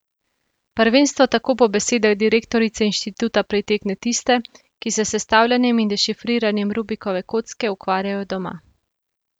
Prvenstvo tako po besedah direktorice inštituta pritegne tiste, ki se s sestavljanjem in dešifriranjem Rubikove kocke ukvarjajo doma.